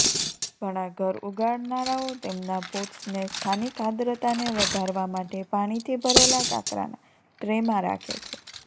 ઘણા ઘર ઉગાડનારાઓ તેમના પોટ્સને સ્થાનિક આદ્રતાને વધારવા માટે પાણીથી ભરેલા કાંકરાના ટ્રેમાં રાખે છે